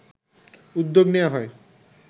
উদ্যোগ নেয়া হয়